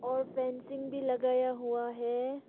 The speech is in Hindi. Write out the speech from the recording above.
और फेंसिंग भी लगाया हुआ है।